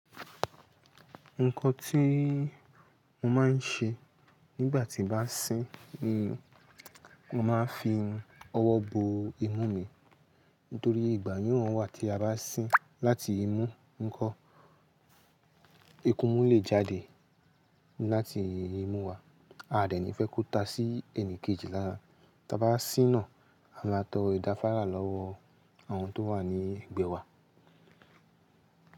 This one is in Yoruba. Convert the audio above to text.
Nǹkan tí mo máa ń ṣe nígbà tí bá sín ni mo máa ń fi ọwọ́ bo imú mi nítorí ìgbàyùn wọ́n wà tí a bá sín láti imú, nǹkan, ikun mú lè jáde láti imú wa, a à dẹ̀ ni fẹ́ kó ta sí ẹnìkejì lánàá. Tí a bá sín naá, a máa tọ idàfara lọ́wọ́ àwọn tó wà ní ẹ̀gbẹ́ wa.